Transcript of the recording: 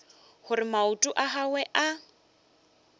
gore maoto a gagwe a